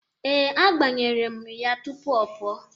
Ee, agbanyere mụ ya tupu ọ pụọ.